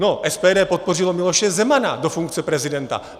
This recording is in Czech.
No, SPD podpořilo Miloše Zemana do funkce prezidenta.